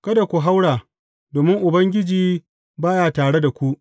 Kada ku haura, domin Ubangiji, ba ya tare da ku.